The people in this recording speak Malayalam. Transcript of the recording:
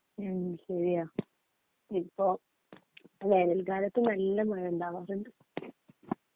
മ്ഹ് ശരിയാ ഇപ്പോ വേനൽൽക്കാലത്തും നല്ല മഴ ഉണ്ടാവാറുണ്ട്